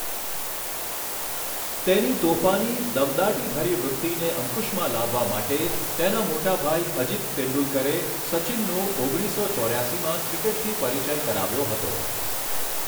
તેની તોફાની, દમદાટીભરી વૃત્તિને અંકુશમાં લાવવા માટે, તેના મોટા ભાઈ અજીત તેંડુલકરે સચિનનો ઓગણીસો ચોર્યાસીમાં ક્રિકેટથી પરિચય કરાવ્યો હતો.